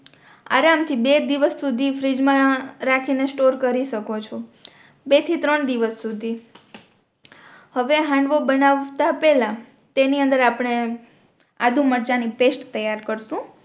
આરામ થી બે દિવસ સુધી ફ્રીઝ મા રાખી ને સ્ટોર કરી શકો છો બે થી ત્રણ દિવસ સુધી હવે હાંડવો બનાવતા પેહલા તેની અંદર આપણે આદું મરચાં ની પેસ્ટ તૈયાર કરશું